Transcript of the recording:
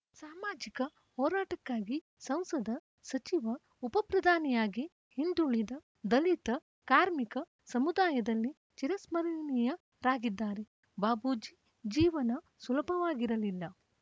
ಸಾಮಾಜಿಕ ಹೋರಾಟಕ್ಕಾಗಿ ಸಂಸದ ಸಚಿವ ಉಪಪ್ರಧಾನಿಯಾಗಿ ಹಿಂದುಳಿದ ದಲಿತ ಕಾರ್ಮಿಕ ಸಮುದಾಯದಲ್ಲಿ ಚಿರಸ್ಮರಣಿಯರಾಗಿದ್ದಾರೆ ಬಾಬೂಜಿ ಜೀವನ ಸುಲಭವಾಗಿರಲಿಲ್ಲ